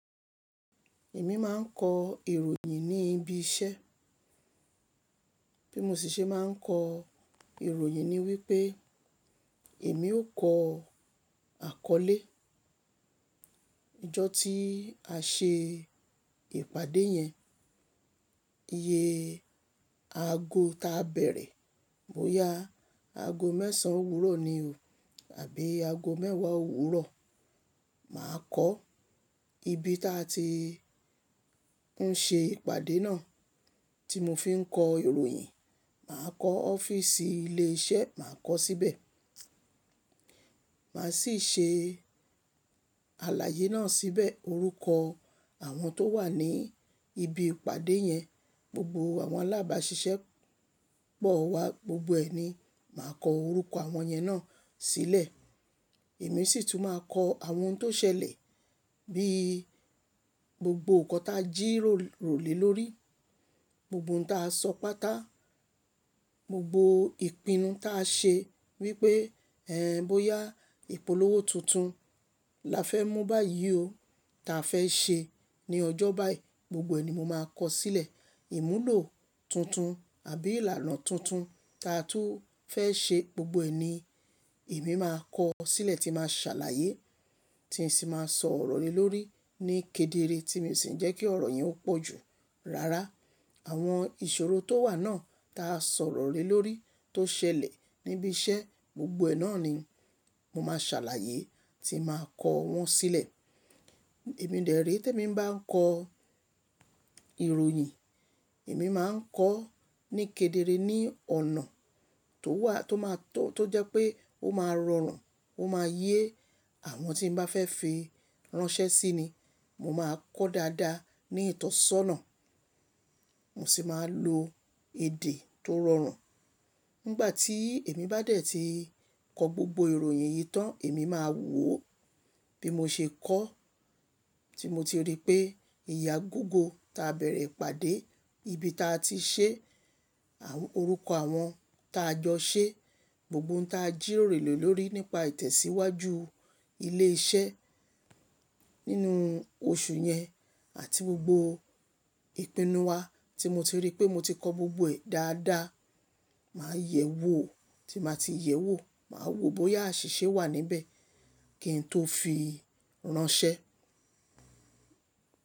Èmi máa ń kọ ìròyìn ní ibi iṣẹ́. Bí mo si ṣe máa ń kọ ìròyìn ni wípé èmi ó kọ àkọlé. Ìjọ́ tí a ṣe ìpàdé yẹn, iye aago táa bẹ̀rẹ̀, bóyá aago mẹ́sàn-án òwúrọ̀ ni o àbí aago mẹ́wàá òwúrọ̀. Màá kọo ibi táa ti ń ṣe ìpàdé náà tí mo fi ń kọ ìròyìn. Màá kọ ọ́fíísì ilé iṣẹ́, màá kọ síbẹ̀. Màá sì ṣe àlàyé náà síbẹ̀. Orúkọ àwọn tó wà ní ibi ìpàdé yẹn, gbogbo àwọn alábáṣiṣẹ́ pọ̀ wá gbogbo ẹ̀ ni màá kọ orúkọ àwọn yẹn náà sílẹ̀. Èmi sì tún máa kọ àwọn ohun tó ṣẹlẹ̀ bí gbogbo nǹkan tá jíròrò lé lórí, gbogbo nǹkan tá sọ pátá, gbogbo ìpinnu tá ṣe wípé ẹ́n! Bóyá ìpolówó tuntun la fẹ́ mú báyìí o, ta fẹ́ ṣe ní ọjọ́ báyiì, gbogbo ẹ̀ ni mo máa kọ sílẹ̀. Ìmúlò tuntun àbí ìlànà tuntun ta tú fẹ́ ṣe gbogbo ẹ̀ ni èmi máa kọ sílẹ̀ tí màá ṣàlàyé tí n sì máa sọ̀rọ̀ lé lórí ní kedere tí mi o sì ni jẹ́ kí ọ̀rọ̀ yẹn ó pọ̀ jù. Rárá, àwọn ìṣòro tó wà náà tá sọ̀rọ̀ lé lórí tó ṣẹlẹ̀ níbi iṣẹ́ gbogbo ẹ̀ náà ni mo máa ṣàlàyé tí n màá kọ wọ́n sílẹ̀. Ẹ̀mí dèré tí èmi ń bá ń kọ ìròyìn, èmi máa ń kọ ní kedere ní ọ̀nà tó wà tó máa tó, tó jẹ́ pé ó máa rọrùn, ó máa yé àwọn tí n bá fẹ́ fi ránṣẹ́ sí ni. Mo máa kọ dáadáa ní ìtọ́sọ́nà. Mo sì máa lo èdè tó rọrùn. Nígbà tí èmi bá dẹ̀ ti kọ gbogbo ìròyìn yìí tán, èmi máa wò ó bí mo ṣe kọ, tí mo ti rí pé iye agogo tá bẹ̀rẹ̀ ìpàdé, ibi táa ti ṣe, àwọn orúkọ àwọn tá jọ ṣe, gbogbo nǹkan tá jíròrò lé lórí nípa ìtẹ̀síwájú ilé iṣẹ́ nínú oṣù yẹn àti gbogbo ìpinnu wa tí mo ti rí pé mo ti kọ gbogbo ẹ̀ dáadáa. Màá yẹ̀ wò, tí n bá ti yẹ̀ wò, màá wo bóyá àṣìṣe wà níbẹ̀ kí n tó fi ránṣẹ́.